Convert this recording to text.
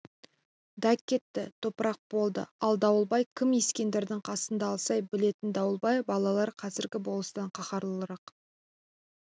да кетті топырақ болды ал дауылбай кім ескендірдің қасында алсай білетін дауылбай балалары қазіргі болыстан қаһарлырақ